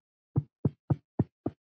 En þú ert ekki hér.